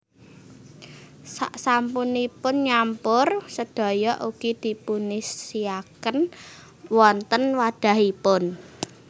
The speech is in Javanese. Sak sampunipun nyampur sedaya ugi dipunisiaken wonten wadhahipun